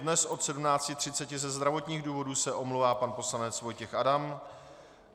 Dnes od 17.30 ze zdravotních důvodů se omlouvá pan poslanec Vojtěch Adam.